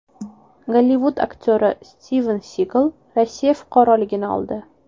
Gollivud aktyori Stiven Sigal Rossiya fuqaroligini oldi.